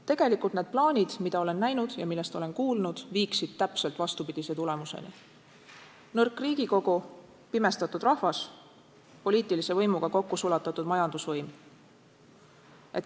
Tegelikult need plaanid, mida olen näinud ja millest olen kuulnud, viiksid täpselt vastupidise tulemuseni: nõrk Riigikogu, pimestatud rahvas, poliitilise võimuga kokku sulatatud majandusvõim.